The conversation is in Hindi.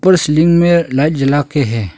उपर सीलिंग में लाइट जला के है।